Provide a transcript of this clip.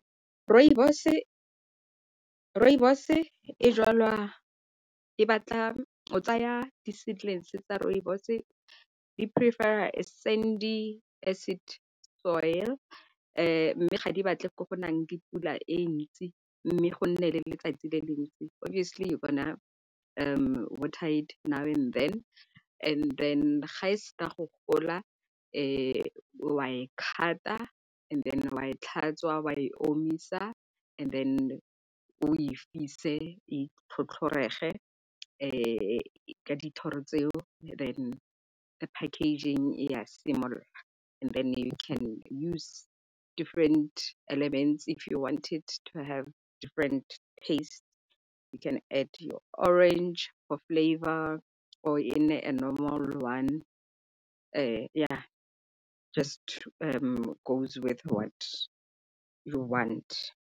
Rooibos e jwalwa e batla o tsaya di-seedless tsa rooibos e di-prefer-ra sandy acid soil, mme ga di batle ko go nang le pula e ntsi mme go nne le letsatsi le le ntsi. Obviously you gonna water it now and then ga se ka go gola o a e cut-a and then o a e tlhatswa o a e omisa and then o e fise e tlhotlhorege ka di thoro tseo then the packaging ya simolola and then you can use different elements if you want it to have different taste. You can add your orange or flavour or e nne a normal one ya just to goes with what you want.